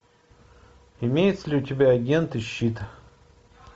имеется ли у тебя агент и щит